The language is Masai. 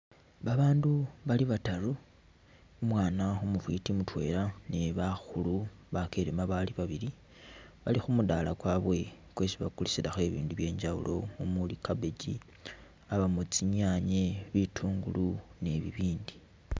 Babaandu bali bataru, umwaana umufwiti mutwela ni bakhulu bakelema bali babili, bali khu mudala kwabwe kwesi bakulisilakho i'bindu bye injawulo umuli cabbage, yabamo tsinyanye, bitungulu ni bibindi.